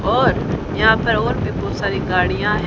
और यहां पर और भी बहोत सारी गाड़ियां हैं।